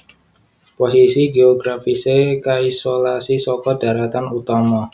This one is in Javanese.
Posisi géografisé kaisolasi saka dharatan utama